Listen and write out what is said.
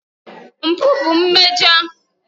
Mpụ bụ mmejọ.